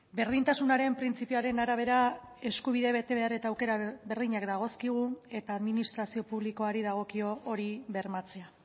berdintasunaren printzipioaren arabera eskubide betebehar eta aukera berdinak dagozkigu eta administrazio publikoari dagokio hori bermatzea